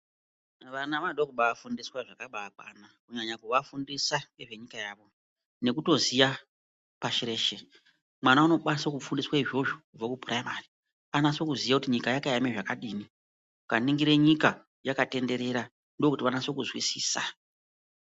Vana vanoda kubafundiswa zvakabakwana kunyanya kuvafundisa ngezvenyija yavo nekutoziya zveshe, mwana unokwanisa kufunda izvozvo kubvire kupuraimari anase kuziye kuti nyika yakaema zvakadini, ukaningire nyika yakatenderera ndokuti vanase kuzwisisa.